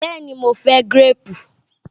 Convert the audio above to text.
Bẹ́ẹ̀ ni, mo fẹ́ gíréèpù.